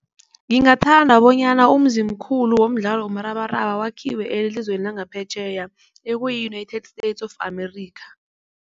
Ngingathanda bonyana umzimkhulu womdlalo womrabaraba wakhiwe elizweni langaphetjheya ekuyi-United states of Amerika.